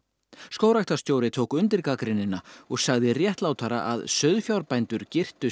skógræktarstjóri tók undir gagnrýnina og sagði réttlátara að sauðfjárbændur girtu